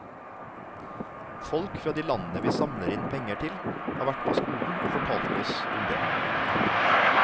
Folk fra de landene vi samler inn penger til har vært på skolen og fortalt oss om det.